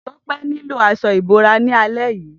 Tope niló aṣọ ibórá làlẹ̀ yi